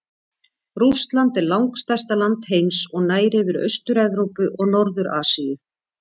Rússland er langstærsta land heims og nær yfir Austur-Evrópu og Norður-Asíu.